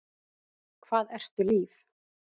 Hvað ertu líf?